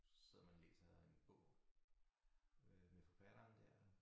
Sidder man og læser en bog øh med forfatteren dér